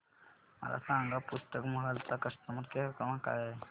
मला सांगा पुस्तक महल चा कस्टमर केअर क्रमांक काय आहे